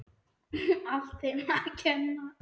Allt þeim að kenna.!